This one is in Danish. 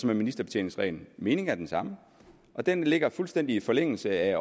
med ministerbetjeningsreglen meningen er den samme og den ligger fuldstændig i forlængelse af